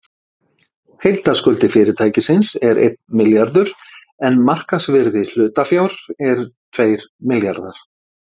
Heildarskuldir fyrirtækisins eru einn milljarður en markaðsvirði hlutafjár er tveir milljarðar.